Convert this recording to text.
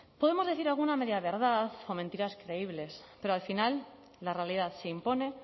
podemos decir alguna media verdad o mentiras creíbles pero al final la realidad se impone